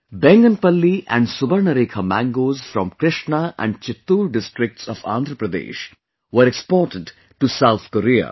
Bainganapalli and Subarnarekha mangoes from Krishna and Chittoor districts of Andhra Pradesh were exported to South Korea